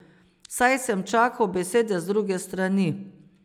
Saj sem čakal besede z druge strani.